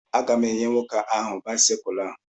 A ga m enyè nwoke áhù báịsikụlu a